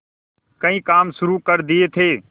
कई काम शुरू कर दिए थे